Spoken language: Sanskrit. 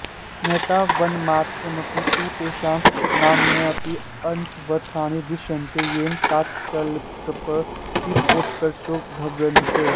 नैतावन्मात्रमपि तु तेषां नामान्यपि अन्वर्थानि दृश्यन्ते येन तात्कालिकप्रतिभोत्कर्षों ध्वन्यते